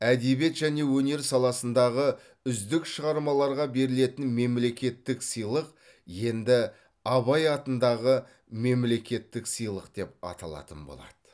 әдебиет және өнер саласындағы үздік шығармаларға берілетін мемлекеттік сыйлық енді абай атындағы мемлекеттік сыйлық деп аталатын болады